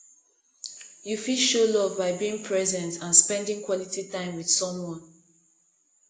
you fit show love by being present and spending quality time with someone